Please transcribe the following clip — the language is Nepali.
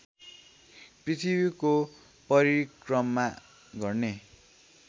पृथ्वीको परिक्रमा गर्ने